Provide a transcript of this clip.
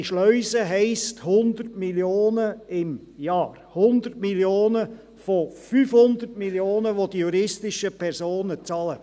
Diese Schleuse heisst: 100 Mio. Franken im Jahr – 100 Mio. von 500 Mio. Franken, welche die juristischen Personen bezahlen.